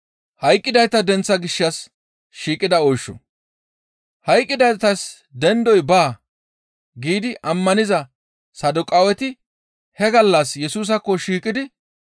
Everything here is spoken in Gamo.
«Hayqqidaytas dendoy baa» giidi ammaniza Saduqaaweti he gallas Yesusaakko shiiqidi,